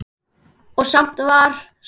Og samt var svarað.